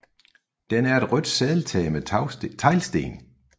Den er et rødt sadeltag med teglsten